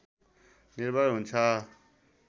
निर्भर हुन्छ